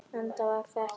Eða hvað það er kallað.